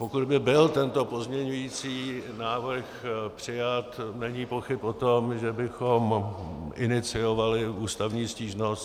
Pokud by byl tento pozměňující návrh přijat, není pochyb o tom, že bychom iniciovali ústavní stížnost.